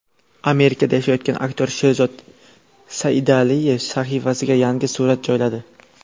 Amerikada yashayotgan aktyor Sherzod Saidaliyev sahifasiga yangi surat joyladi.